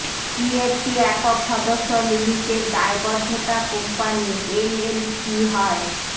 কি একটি একক সদস্য লিমিটেড দায়বদ্ধতা কোম্পানি এলএলসি হয়